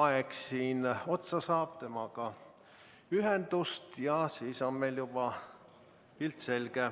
aeg siin otsa saab, temaga ühendust ja siis on meil juba pilt selge.